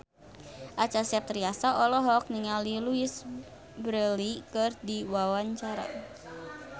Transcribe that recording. Acha Septriasa olohok ningali Louise Brealey keur diwawancara